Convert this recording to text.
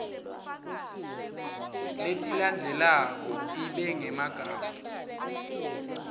letilandzelako ibe ngemagama